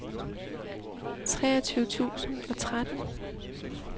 treogtyve tusind og tretten